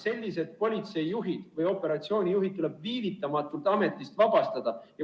Sellised politseijuhid või operatsioonijuhid tuleb viivitamatult ametist vabastada.